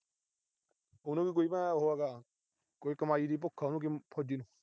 ਉਹਨੂੰ ਕੀ ਕੋਈ ਉਹ ਹੈਗਾ, ਕੋਈ ਕਮਾਈ ਦੀ ਭੁੱਖ ਆ ਫੌਜੀ ਨੂੰ।